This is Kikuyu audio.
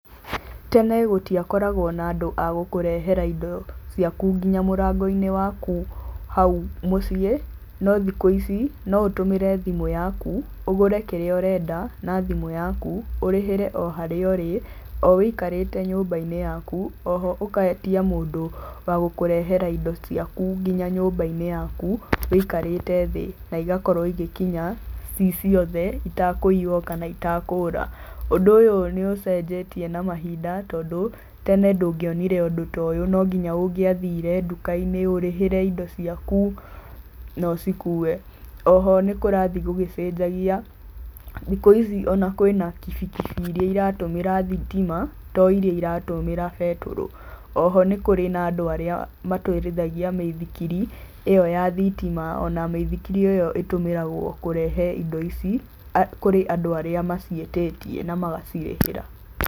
Tene gũtiakoragwo na andũ a gũkũrehera indo ciaku nginya mũrangoinĩ waku, hau mũciĩ, no thikũ ici, no ũtũmĩre thimũ yaku, ũgũre kĩrĩa ũrenda, na thimũ yaku, ũrĩhĩre o harĩa ũrĩ, o wĩikarĩte nyũmbainĩ yaku, oho ũgetia mũndũ wa gũkũrehera indo ciaku nginya nyũmbainĩ yaku, wĩikarĩte thĩ, na igakorwo igĩkinya, ciĩ ciothe, itakũiywo kana itakũra. Ũndũ ũyũ nĩ ũcenjetie na mahinda. tondũ tene ndũngionire ũndũ tũ ũyũ nonginya ũngĩathire ndukainĩ ũrĩhĩre indo ciaku, na ũcikue. Oho nĩkũrathiĩ gũgĩcenjagia, thikũ ici ona kwĩna kĩbikibi iria iratũmĩra thitima, to iria iratũmĩra betũrũ. Oho nĩkũrĩ na andũ arĩa matwarithagia mĩithikiri, ĩyo ya thitima ona mĩithikiri ĩyo ĩtũmĩragwo kũrehe indo ici, kũrĩ andũ arĩa maciĩtĩtie namagacirĩhĩra.